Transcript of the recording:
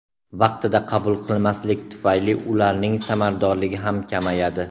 Vaqtida qabul qilmaslik tufayli ularning samaradorligi ham kamayadi.